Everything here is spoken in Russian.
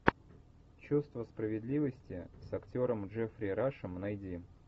чувство справедливости с актером джеффри рашем найди